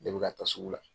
Ne bɛ ka taa sugu la